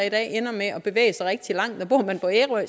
i dag ender med at bevæge sig rigtig langt og bor man på ærø